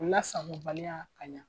Lasagobaliya kaɲa